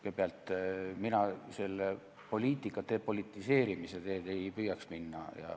Kõigepealt, mina poliitika depolitiseerimise teed ei püüaks minna.